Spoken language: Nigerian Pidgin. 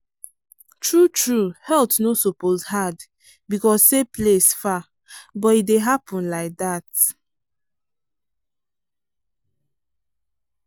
true true health no suppose hard because say place far but e dey happen like dat.